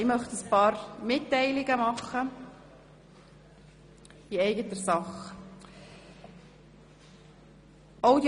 Ich möchte ein paar Mitteilungen in eigener Sache machen.